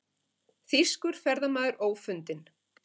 Þýskur ferðamaður ófundinn